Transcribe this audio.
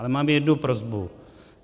Ale mám jednu prosbu.